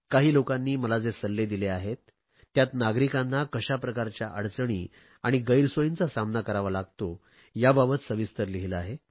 काही लोकांनी मला जे सल्ले दिले आहेत त्यात नागरिकांना कशाप्रकारच्या अडचणी आणि गैरसोयींचा सामना करावा लागतो याबाबत सविस्तर लिहिले आहे